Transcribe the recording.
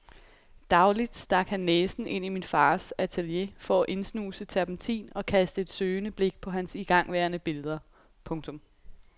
Dagligt stak han næsen ind i min fars atelier for at indsnuse terpentin og kaste et søgende blik på hans igangværende billeder. punktum